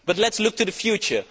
But let us look to the future.